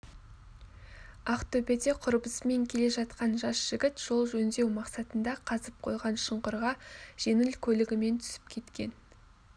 ақтөбеде құрбысымен келе жатқан жас жігіт жол жөндеу мақсатында қазып қойған шұңқырға жеңіл көлігімен түсіп кеткен